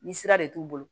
Ni sira de t'u bolo